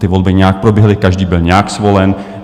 Ty volby nějak proběhly, každý byl nějak zvolen.